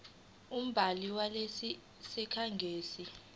umbhali walesi sikhangisi